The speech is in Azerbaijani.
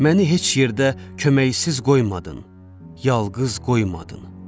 Məni heç yerdə köməksiz qoymadın, yalqız qoymadın.